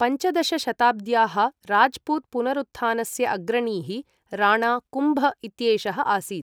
पञ्चदशशताब्द्याः राज्पुत् पुनरुत्थानस्य अग्रणीः राणा कुम्भ इत्येषः आसीत्।